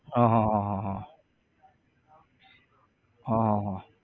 હા હા હા હા હા હા હા